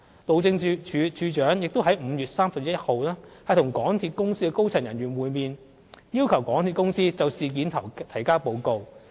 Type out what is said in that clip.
路政署署長亦於5月31日與港鐵公司高層人員會面，要求港鐵公司就事件提交報告。